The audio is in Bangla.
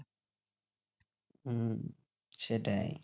হম সেটাই